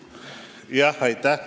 Aitäh!